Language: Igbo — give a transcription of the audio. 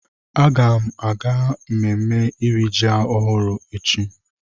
Agam aga mmemme iri ji ọhụrụ echi.